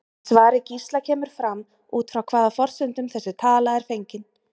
Í svari Gísla kemur fram út frá hvaða forsendum þessi tala er fengin.